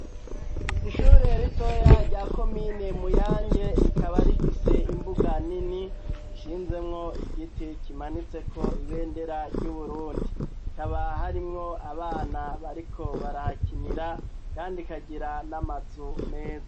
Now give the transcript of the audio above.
Ishure ritoya rya ko mine muyanje rikaba rifise imbuga nini nshinzemwo igiti kimanitseko ibendera ry'uburundiikaba harimwo abana bariko barahakinira, kandi ikagira n'amazu meza.